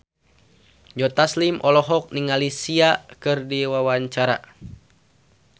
Joe Taslim olohok ningali Sia keur diwawancara